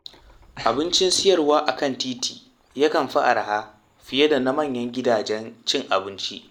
Abincin siyarwa a kan titi yakan fi araha fiye da na manyan gidajen cin abinci.